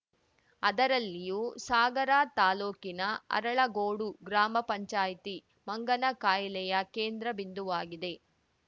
ಅದರಲ್ಲಿಯೂ ಸಾಗರ ತಾಲೂಕಿನ ಅರಳಗೋಡು ಗ್ರಾಮಪಂಚಾಯತಿ ಮಂಗನ ಕಾಯಿಲೆಯ ಕೇಂದ್ರ ಬಿಂದುವಾಗಿದೆ